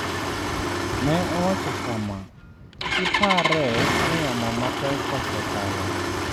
Ne owacho kama: “Kik ipare ni yamo mapek osekalo.”